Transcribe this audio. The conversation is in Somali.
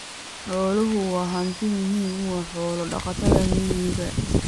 Xooluhu waa hanti muhiim u ah xoolo-dhaqatada miyiga.